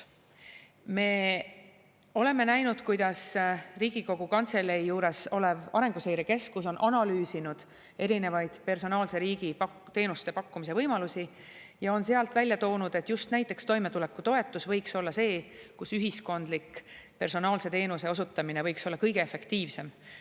Me oleme näinud, kuidas Riigikogu Kantselei juures olev Arenguseire Keskus on analüüsinud erinevaid personaalse riigi teenuste pakkumise võimalusi ja on sealt välja toonud, et just toimetulekutoetus võiks olla see, kus ühiskondlik personaalse teenuse osutamine võiks olla kõige efektiivsem.